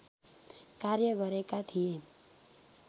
कार्य गरेका थिए